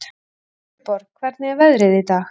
Sigurborg, hvernig er veðrið í dag?